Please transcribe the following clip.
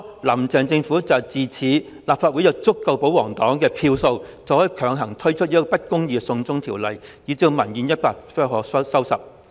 "林鄭"政府就是恃着在立法會有足夠的保皇票數，可以強推不公義的"送中條例"，以致民怨一發不可收拾。